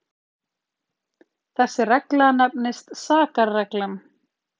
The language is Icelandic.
þessi regla nefnist sakarreglan